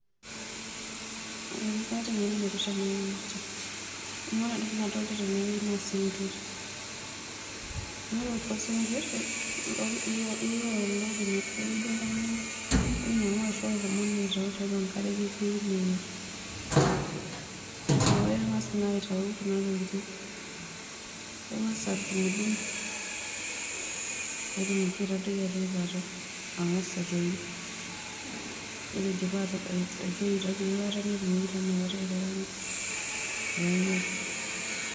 Ee kaata engeno naipirta ena kipirta. Amu ore entoki nadolita tenewueji naa sinkirr naa ore kulo sinkirr keyieu olopeny aashu oltungani duo oinyangua ashuu oshomo duo aitayu tiatua enkare, keyieu neyierr. Neeku kengas naa aitayu kuna tokitin; kengas adungidung pee etumoki aitadoiki atua eilata angas aitoi, ore eidipa aitoyio netumoki taa inakata aikaraanga pee enyai.